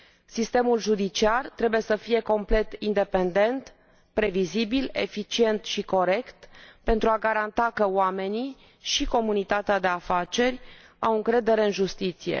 Sistemul judiciar trebuie să fie complet independent, previzibil, eficient și corect, pentru a garanta că oamenii și comunitatea de afaceri au încredere în justiție.